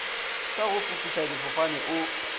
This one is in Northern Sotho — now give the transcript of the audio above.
sa go fofiša difofane o